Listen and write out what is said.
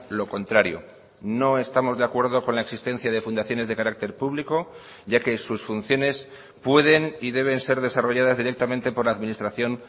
lo contrario no estamos de acuerdo con la existencia de fundaciones de carácter público ya que sus funciones pueden y deben ser desarrolladas directamente por la administración